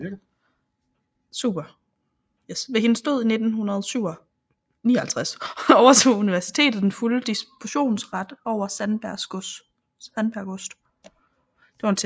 Ved hendes død i 1959 overtog universitetet den fulde dispositionsret over Sandbjerg Gods